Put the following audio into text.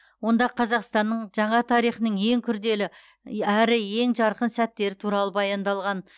онда қазақстанның жаңа тарихының ең күрделі әрі ең жарқын сәттері туралы баяндалған